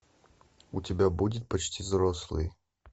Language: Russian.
у тебя будет почти взрослые